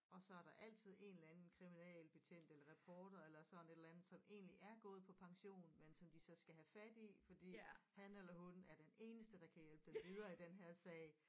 Og så er der altid en eller anden kriminalbetjent eller rapporter eller sådan et eller andet som egentlig er gået på pension men som de så skal have fat i fordi han eller hun er den eneste der kan hjælpe dem videre i den her sag